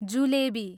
jalebi